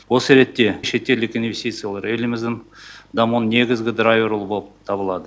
осы ретте шетелдік инвестициялар еліміздің дамуының негізгі драйвері болып табылады